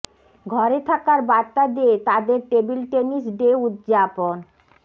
ঘরে থাকার বার্তা দিয়ে তাদের টেবিল টেনিস ডে উদযাপন